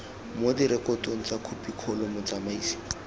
mo direkotong tsa khopikgolo motsamaisi